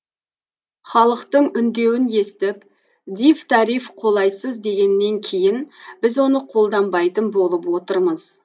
халықтың үндеуін естіп дифтариф қолайсыз дегеннен кейін біз оны қолданбайтын болып отырмыз